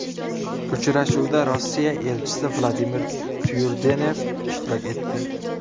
Uchrashuvda Rossiya elchisi Vladimir Tyurdenev ishtirok etdi.